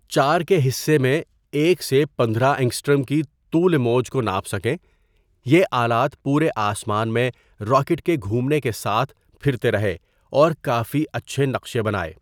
۴ کے حصّے میں ۱ سے ۱۵ انگسٹرم کی طول موج کو ناپ سکیں یہ آلات پورے آسمان میں راکٹ کے گھومنے کے ساتھ پھرتے رہے اور کافی اچھے نقشے بنائے.